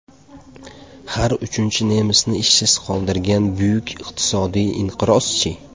Har uchinchi nemisni ishsiz qoldirgan buyuk iqtisodiy inqiroz-chi ?